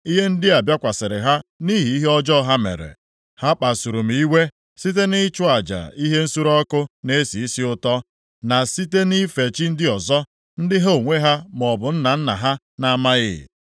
Ihe ndị a bịakwasịrị ha nʼihi ihe ọjọọ ha mere. Ha kpasuru m iwe site nʼịchụ aja ihe nsure ọkụ na-esi isi ụtọ, na site nʼife chi ndị ọzọ, ndị ha onwe ha maọbụ nna nna ha na-amaghị.